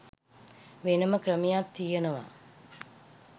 වෙනම ක්‍රමයක් තියෙනවා.